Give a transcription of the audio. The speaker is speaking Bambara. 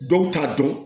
Dɔw t'a dɔn